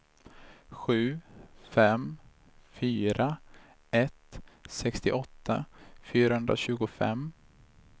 sju fem fyra ett sextioåtta fyrahundratjugofem